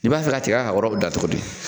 I b'a fɛ ka tika ka yɔrɔ dan cogo di?